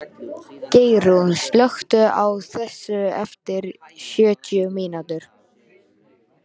Geirrún, slökktu á þessu eftir sjötíu mínútur.